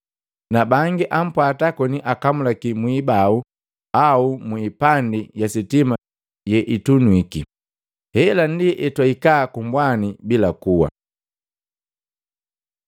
na bangi apwaata koni akamulaki mu ibau au mu ipandi ya sitima yeitunywiki. Hela ndi hetwahika ku mbwani bila kuwa.